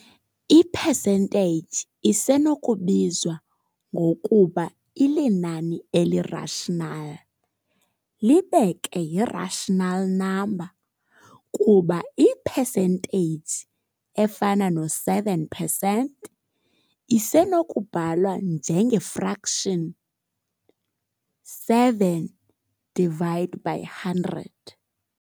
I-percentage isenokubizwa ngokuba ilinani eli-rational libe ke yi-rational number, kuba i-percentage efana no-7 percent isenokubhalwa njenge-fraction 7 divide by 100.